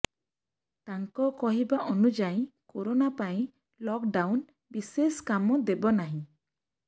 ତାଙ୍କ କହିବା ଅନୁଯାୟୀ କରୋନା ପାଇଁ ଲକଡ଼ାଉନ ବିଶେଷ କାମ ଦେବ ନାହିଁ